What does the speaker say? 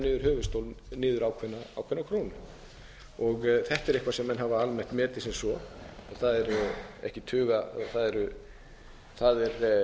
niður höfuðstólinn niður ákveðna krónu þetta er eitthvað sem menn hafa almennt metið sem svo það er